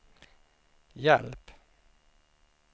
hjälp